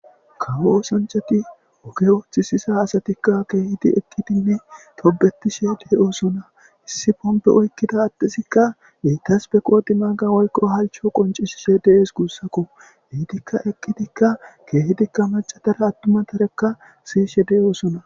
Kawo osanchati oge ooththisisa asatikka keehidi eqidinne tobetishe deyoosona hissi bombe oykkida attesikka beitas be qoodi maaga woykko halcho qoncisishe dees guussakko hiitikka eqqidikka keehidikka macatara attuma tarekka siyishe de7oosona.